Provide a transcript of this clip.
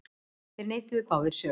Þeir neituðu báðir sök.